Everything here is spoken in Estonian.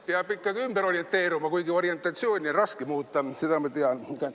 Peab ikkagi ümber orienteeruma, kuigi orientatsiooni on raske muuta, seda ma tean.